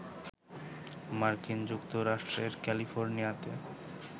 মার্কিন যুক্তরাষ্ট্রের ক্যালিফোর্নিয়াতে